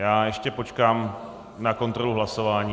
Já ještě počkám na kontrolu hlasování.